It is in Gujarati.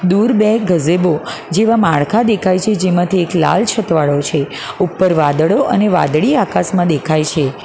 દૂર બે ગજેભો જેવા માળખા દેખાય છે જેમાંથી એક લાલ છત વાળો છે ઉપર વાદળો અને વાદળી આકાશમાં દેખાય છે.